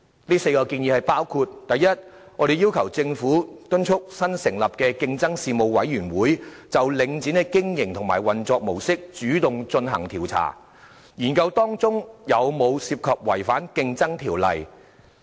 這4項建議包括：第一，我們要求政府敦促新成立的競爭事務委員會就領展的經營和運作模式主動進行調查，研究當中有否涉及違反《競爭條例》。